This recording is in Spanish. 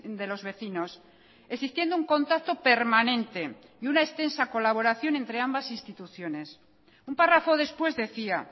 de los vecinos existiendo un contacto permanente y una extensa colaboración entre ambas instituciones un párrafo después decía